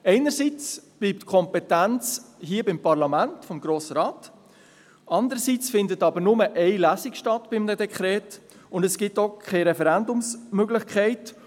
Einerseits bleibt die Kompetenz beim Parlament, und andererseits findet bei einem Dekret nur eine Lesung statt, und es gibt auch keine Referendumsmöglichkeit.